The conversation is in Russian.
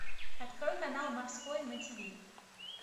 открой канал морской на тв